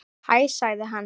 Hæ sagði hann.